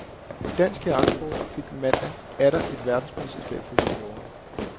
Dansk kajaksport fik mandag atter et verdensmesterskab for juniorer.